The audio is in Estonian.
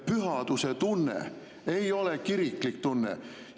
Pühaduse tunne ei ole kiriklik tunne.